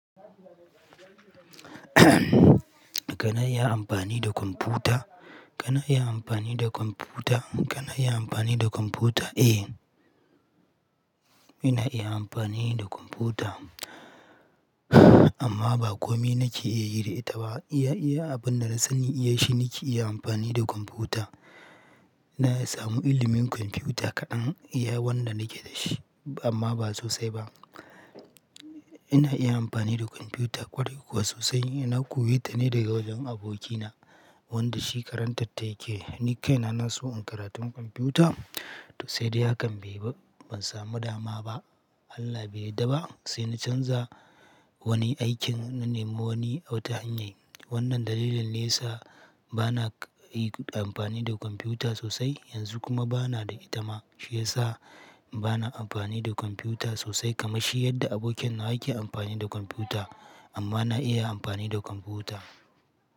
Kana iya amfani da kwamfuta? Kana iya amfani da kwamfuta? Kana iya amfani da kwamfuta? Eh, ina iya amfani da kwamfuta amma ba kome nake iya yi da ita ba. Iya iya abin da na sani ya shi nake iya amfani da kwamfuta. Na samu ilimin kwamfuyuta kaɗan iya wanda nake da shi amma ba sosai ba. Ina iya amfani da kwamfuyuta ƙwarai kuwa sosai. Na koyeta ne daga wajen abokina wanda shi karantarta yake. Ni kaina na so in karatun kwamfuyuta to sai dai hakan bai ba ban samu dama ba. Allah bai yadda ba sai na canza wani aikin na nemi wani wata hanyar. Wannan dalilin ne yssa ba na yi amfani da kwamfuyuta sosai yanzu kuma ba na da itama. Shi ya sa ba na amfani da kwamfuyuta sosai kamar shi yadda abokina yake amfani da kwamfuyuta amma na iya amfani da kwamfuta.